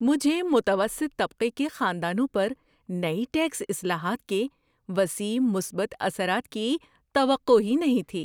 مجھے متوسط طبقے کے خاندانوں پر نئی ٹیکس اصلاحات کے وسیع مثبت اثرات کی توقع ہی نہیں تھی۔